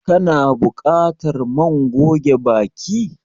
Ka na buƙatar man goge baki?